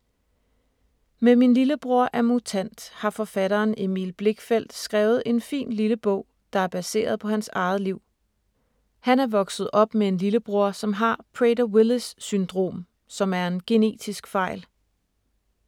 Med ”Min lillebror er mutant” har forfatteren Emil Blichtfeldt skrevet en fin lille bog, der er baseret på hans eget liv. Han er vokset op med en lillebror, som har Prader-Willis syndrom, som er en genetisk fejl.